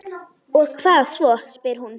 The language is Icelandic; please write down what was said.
Og hvað svo, spyr hún.